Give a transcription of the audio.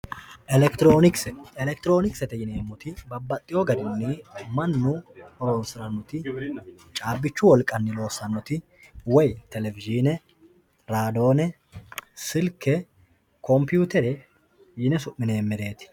Elekitironikise, elekitronikisete yineemoti babaxeewo garinni manu horonsiranoti caabbichu woliqanni loosanoti woyi televishiine raadoone, silke, compuutere yine sumineemerreti